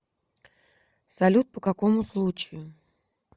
салют по какому случаю